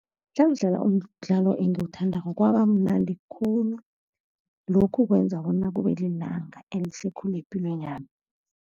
Nangidlala umdlalo engiwuthandako kwaba mnandi khulu. Lokhu kwenza bona kube lilanga elihle khulu epilweni yami.